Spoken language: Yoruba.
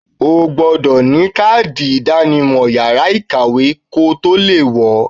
O gbọdọ̀ ní kádì ìdánimọ̀ yàrá ìkàwé kotó le wọ̀ọ.